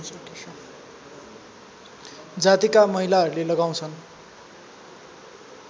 जातिका महिलाहरूले लगाउँछन्